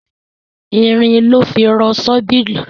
Irin lọ́ fi rọ ṣọ́bìrì.